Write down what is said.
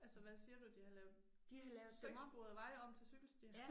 Altså hvad siger du de har lavet seksporede veje om til cykelstier